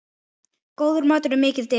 Góður matur er mikið dekur.